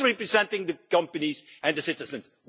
Who represents the companies and the citizens?